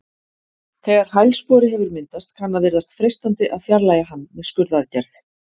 Þegar hælspori hefur myndast kann að virðast freistandi að fjarlægja hann með skurðaðgerð.